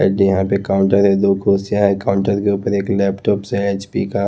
यहाँ पे काउंटर है दो कुर्सियाँ है काउंटर के ऊपर एक लैपटॉप से एच_पी का --